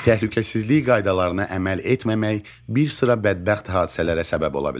Təhlükəsizlik qaydalarına əməl etməmək bir sıra bədbəxt hadisələrə səbəb ola bilər.